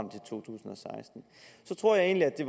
seksten så tror jeg egentlig at det